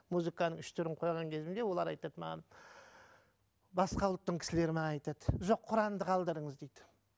музыканың үш түрін қойған кезімде олар айтады маған басқа ұлттың кісілері маған айтады жоқ құранды қалдырыңыз дейді